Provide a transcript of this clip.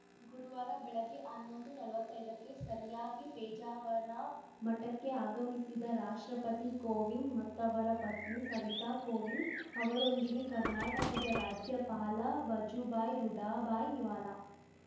ಗುರುವಾರ ಬೆಳಗ್ಗೆ ಹನ್ನೊಂದುನಲ್ವತ್ತೈದಕ್ಕೆ ಸರಿಯಾಗಿ ಪೇಜಾವರ ಮಠಕ್ಕೆ ಆಗಮಿಸಿದ ರಾಷ್ಟ್ರಪತಿ ಕೋವಿಂದ್‌ ಮತ್ತವರ ಪತ್ನಿ ಸವಿತಾ ಕೋವಿಂದ್‌ ಅವರೊಂದಿಗೆ ಕರ್ನಾಟಕದ ರಾಜ್ಯಪಾಲ ವಜುಭಾಯಿ ರುಡಾಭಾಯಿ ವಾಲಾ